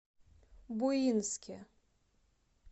буинске